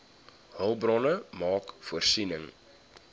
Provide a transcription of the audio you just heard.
hulpbronne maak voorsiening